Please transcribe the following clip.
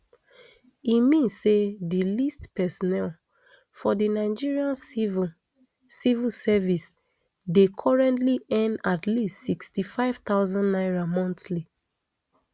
e mean say di least personnel for di nigeria civil civil service dey currently earn at least sixty-five thousand naira monthly